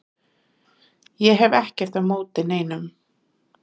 Ég hef ekkert á móti neinum